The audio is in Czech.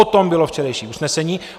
O tom bylo včerejší usnesení.